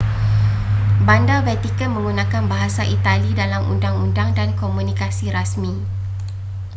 bandar vatican menggunakan bahasa itali dalam undang-undang dan komunikasi rasmi